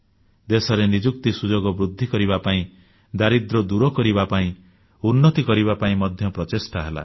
ଦେଶରେ ନିଯୁକ୍ତି ସୁଯୋଗ ବୃଦ୍ଧି କରିବା ପାଇଁ ଦାରିଦ୍ର୍ୟ ଦୂର କରିବା ପାଇଁ ଉନ୍ନତି କରିବା ପାଇଁ ମଧ୍ୟ ପ୍ରଚେଷ୍ଟା ହେଲା